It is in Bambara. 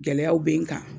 Gɛlɛyaw bɛ n kan